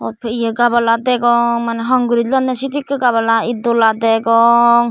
gabala degong concrit lonne sedekki gabala ed dola degong.